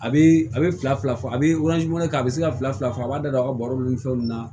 A bɛ a bɛ fila fila fɔ a bɛ kɛ a bɛ se ka fila fila fɔ a b'a da aw ka baro ni fɛnw na